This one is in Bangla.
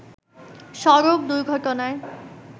সড়ক দুর্ঘটনায়